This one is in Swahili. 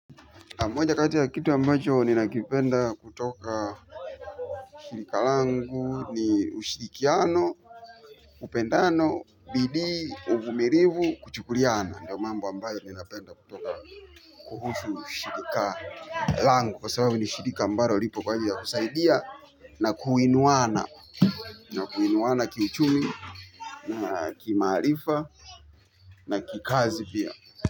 Moja kati ya kitu ambacho ninakipenda kutokana shirika langu, ushirikiano, upendano, bidii, uvumilivu kuchukuliana ndo mambo ambayo nayapenda kutoka shirika langu langu kwa sababu ni shirika ambayo lipo kwa ajili ya kusaidia na kuinuana na kuinuana kiuchumi na kimaarifa na kikazi pia.